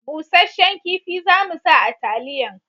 Busashen kifi za mu sa a taliyan